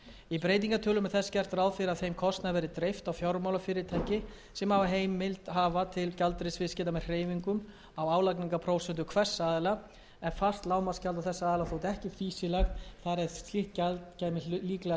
í breytingartillögum er þess vegna gert ráð fyrir að þeim kostnaði verði dreift á fjármálafyrirtæki sem heimild hafa til gjaldeyrisviðskipta með hreyfingum á álagningarprósentum hvers aðila en fast lágmarksgjald á þessa aðila þótti ekki fýsilegt þar eð slíkt gjald kæmi líklega hlutfallslega